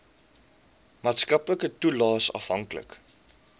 maatskaplike toelaes afhanklik